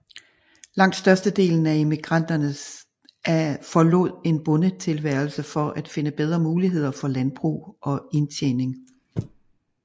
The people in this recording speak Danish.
Langt størstedelen af emigranterne forlod en bondetilværelse for at finde bedre muligheder for landbrug og indtjening